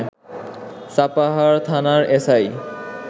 সাপাহার থানার এসআই